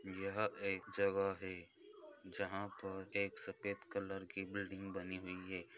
यह एक जगह है जहाँ पे एक सफेद कलर की बिल्डिंग बनी हुई है।